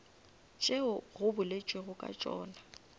tšeo go boletšwego ka tšona